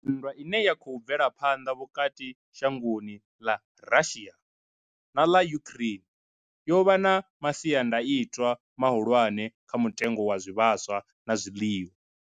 Nndwa ine ya khou bvela phanḓa vhukati ha shango ḽa Russia na ḽa Ukraine yo vha na masiandaitwa mahulwane kha mutengo wa zwivhaswa na zwiḽiwa.